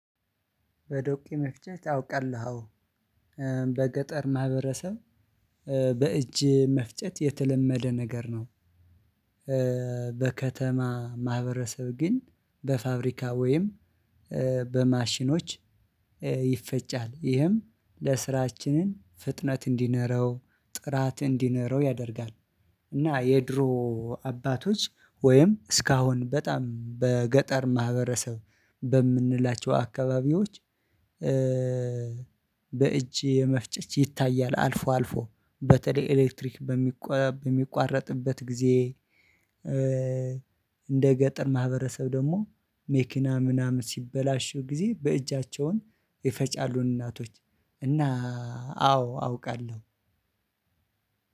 በዶቄ መፍጨት አውቃለሁ አዎ በገጠር ማህበረሰብ በእጅ መፍጨት የተለመደ ነገር ነው በከተማ ማህበረሰብ ግን በፋብሪካ ወይም በማሽኖች ይፈጫል ይህም ለስራችንን ፍጥነት እንዲኖረው ጥራት እንዲኖረው ያደርጋል እና የድሮ አባቶች ወይም እስካሁን በጣም በገጠር ማህበረሰብ በምንላቸው አካባቢዎች የሚለውን ይታያል አልፎ አልፎ በተለይ ኤሌክትሪክ በሚቆ በሚቋረጥበት ጊዜ እንደ ገጠር ማህበረሰብ ደግሞ መኪና ምናምን ሲበላሽ ጊዜ በእጃቸውን ይፈጫሉን እናቶች እና አዎ አውቃለሁ።